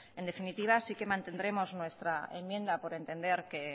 en definitiva sí que mantendremos nuestra enmienda por entender que